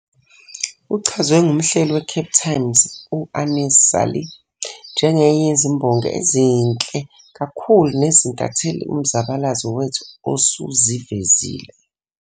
Uchazwe ngumhleli weCape Times u-Aneez Salie "njengenye yezimbongi ezinhle kakhulu nezintatheli uMzabalazo wethu osuzivezile".